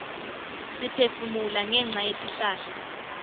siphefumula ngenca yetihlahla